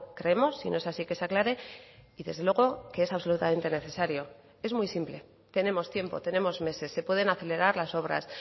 creemos si no es así que se aclare y desde luego que es absolutamente necesario es muy simple tenemos tiempo tenemos meses se pueden acelerar las obras